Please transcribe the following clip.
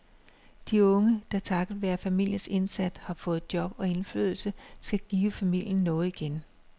De unge, der takket være familiens indsats har fået job og indflydelse, skal give familien noget igen.